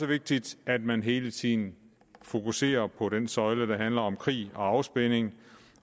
vigtigt at man hele tiden fokuserer på den søjle der handler om krig og afspænding